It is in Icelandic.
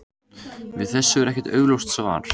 Við þessu er ekkert augljóst svar.